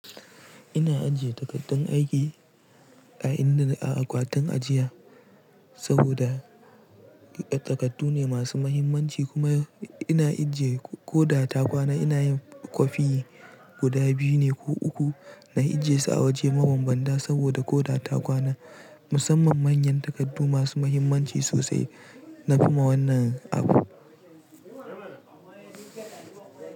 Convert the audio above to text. Ina ajiye takardun aiki a inda na-- a akwatin ajiya saboda takardu ne masu mahimmanci kuma ina ajiye ko da ta kwana ina yin kwafi guda biyu ne ko uku na ajiyesu a waje mabanbanta saboda ko da ta kwana musamman manyan takardu masu mahimmanci sosai nafi ma wannan abu.